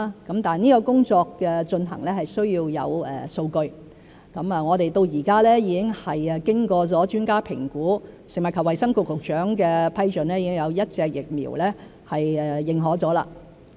這項工作的進行是需要有數據，到目前，我們已經有一款疫苗經過專家評估和食物及衞生局局長批准後獲得認可。